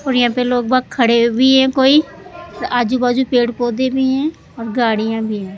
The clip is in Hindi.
और यहां पे लोग बहोत खड़े भी हैं कोई आजू बाजू पेड़-पौधे भी हैं और गाड़ियां भी--